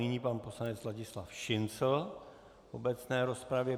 Nyní pan poslanec Ladislav Šincl v obecné rozpravě.